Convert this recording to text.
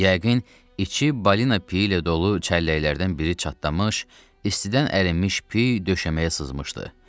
Yəqin, iki balina piyi ilə dolu çəlləklərdən biri çatdamış, istidən ərinmiş piy döşəməyə sızmışdı.